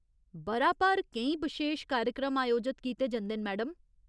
ब'रा भर केईं बशेश कार्यक्रम अयोजत कीते जंदे न, मैडम।